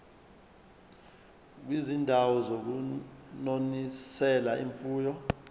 kwizindawo zokunonisela imfuyo